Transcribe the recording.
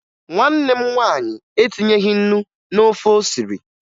Nwanne m nwaanyị etinyeghi ńnú n'ofe o siri